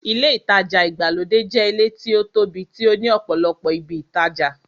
Ilé ìtajà ìgbàlódé jẹ́ ilé tí ó tóbi tí ó ní ọ̀pọ̀lọpọ̀ ibi ìtajà.